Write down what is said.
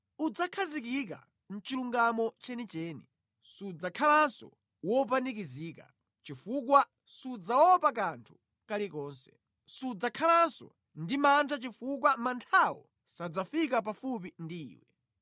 Udzakhazikika mʼchilungamo chenicheni: Sudzakhalanso wopanikizika, chifukwa sudzaopa kanthu kalikonse. Sudzakhalanso ndi mantha chifukwa manthawo sadzafika pafupi ndi iwe.